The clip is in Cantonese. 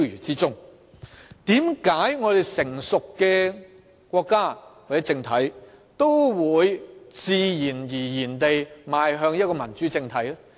為何一個成熟的國家或政體也會自然而然地邁向一個民主政體呢？